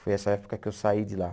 Foi essa época que eu saí de lá.